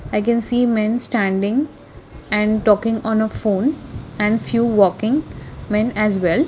i can see men standing and talking on a phone and few walking when as well.